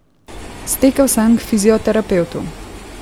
Stekel sem k fizioterapevtu.